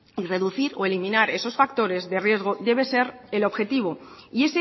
reducir o eliminar esos factores de riesgo debe ser el objetivo y